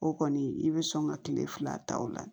O kɔni i bɛ sɔn ka kile fila ta ola